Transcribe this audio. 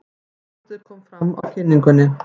Skáldið kom fram á kynningunni.